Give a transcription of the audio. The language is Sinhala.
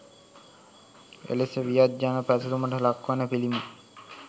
එලෙස වියත් ජන පැසසුමට ලක් වන පිළිම